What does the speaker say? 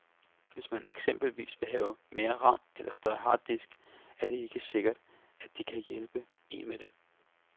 Hvis man eksempelvis vil have mere ram eller større harddisk, er det ikke sikkert, at de kan hjælpe en med det.